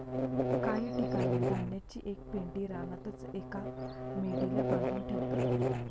काही ठिकाणी धान्याची एक पेंढी रानातच एका मेढीला बांधून ठेवतात.